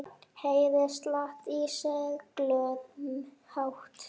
Heyri slátt í seglum hátt.